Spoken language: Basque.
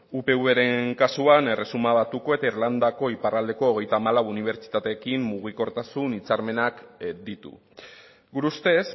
upvren kasuan erresuma batuko eta irlandako iparraldeko hogeita hamalau unibertsitaterekin mugikortasun hitzarmenak ditu gure ustez